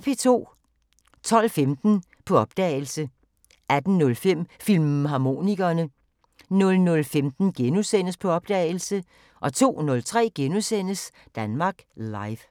12:15: På opdagelse 18:05: Filmharmonikerne 00:15: På opdagelse * 02:03: Danmark Live *